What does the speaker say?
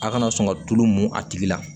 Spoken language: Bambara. A' kana sɔn ka tulu mun a tigi la